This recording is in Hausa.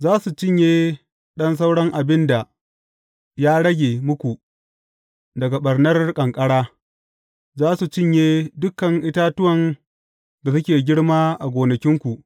Za su cinye ɗan sauran abin da ya rage muku daga ɓarnar ƙanƙara, za su cinye dukan itatuwan da suke girma a gonakinku.